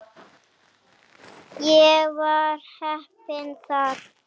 Ég var heppinn þar.